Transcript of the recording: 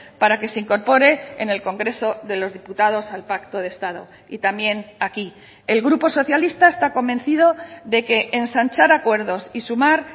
para que se incorpore en el congreso de los diputados al pacto de estado y también aquí el grupo socialista está convencido de que ensanchar acuerdos y sumar